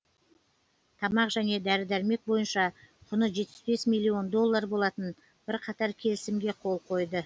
тамақ және дәрі дәрмек бойынша құны жетпіс бес милллион доллар болатын бірқатар келісімге қол қойды